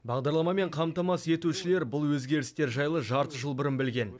бағдарламамен қамтамасыз етушілер бұл өзгерістер жайлы жарты жыл бұрын білген